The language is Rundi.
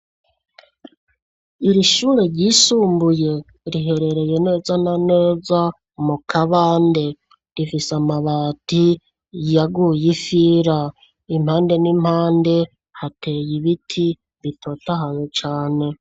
Iri shure ryisumbuye riherereye neza na neza mu kabande rifise amabati yaguye ifira impande n'impande hateye ibiti bitotahayo cane.